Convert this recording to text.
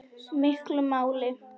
miklu máli.